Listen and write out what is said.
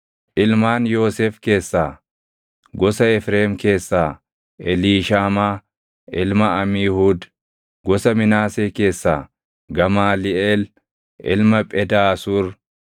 ilmaan Yoosef keessaa: gosa Efreem keessaa Eliishaamaa ilma Amiihuud; gosa Minaasee keessaa Gamaaliʼeel ilma Phedaasuur;